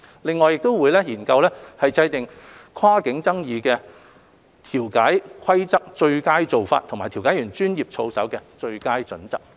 另外亦會研究制訂跨境爭議的調解規則最佳做法及調解員專業操守的最佳準則。